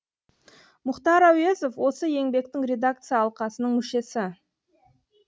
мұхтар әуезов осы еңбектің редакция алқасының мүшесі